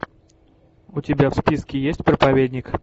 у тебя в списке есть проповедник